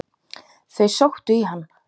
Þau sóttu í hann.